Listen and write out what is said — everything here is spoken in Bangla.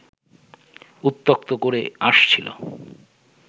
উত্ত্যক্ত করে আসছিল